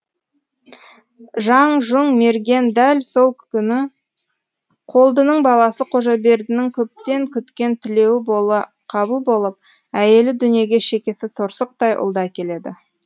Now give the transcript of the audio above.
жаңжұң мерген дәл сол күні қолдының баласы қожабердінің көптен күткен тілеуі қабыл болып әйелі дүниеге шекесі торсықтай ұлды әкеледі